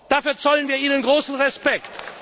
Dafür zollen wir Ihnen großen Respekt.